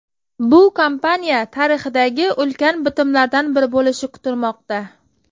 Bu kompaniya tarixidagi ulkan bitimlardan biri bo‘lishi kutilmoqda.